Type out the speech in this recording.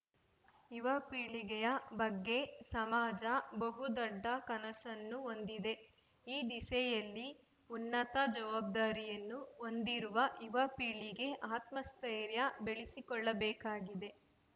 ಯುವಪೀಳಿಗೆಯ ಬಗ್ಗೆ ಸಮಾಜ ಬಹು ದೊಡ್ಡ ಕನಸನ್ನು ಹೊಂದಿದೆ ಈ ದಿಸೆಯಲ್ಲಿ ಉನ್ನತ ಜವಾಬ್ದಾರಿಯನ್ನು ಹೊಂದಿರುವ ಯುವ ಪೀಳಿಗೆ ಆತ್ಮಸ್ಥೈರ್ಯ ಬೆಳೆಸಿಕೊಳ್ಳಬೇಕಾಗಿದೆ